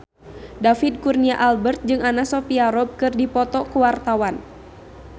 David Kurnia Albert jeung Anna Sophia Robb keur dipoto ku wartawan